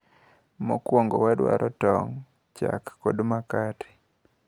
Mokwongo wadwaro tong`,chak kod makate.